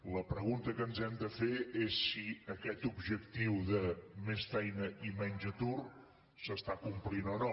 la pregunta que ens hem de fer és si aquest objectiu de més feina i menys atur s’està complint o no